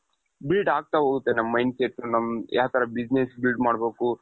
build ಆಗ್ತಾ ಹೋಗುತ್ತೆ ನಮ್ mind set ಯಾವ್ ತರ business build ಮಾಡ್ಬೇಕು?